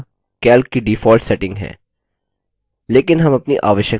लेकिन हम अपनी आवश्यकता के अनुसार इनमें से किसी को भी बदल सकते हैं